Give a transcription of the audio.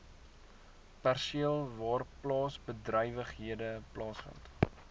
perseel waarplaasbedrywighede plaasvind